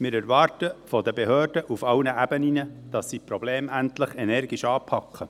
Wir erwarten von den Behörden auf allen Ebenen, dass sie die Probleme endlich energisch anpacken.